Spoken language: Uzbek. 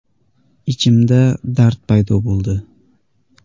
Ichimda dard paydo bo‘ldi.